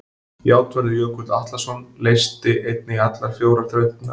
Játvarður Jökull Atlason leysti einnig allar fjórar þrautirnar.